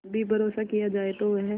भी भरोसा किया जाए तो वह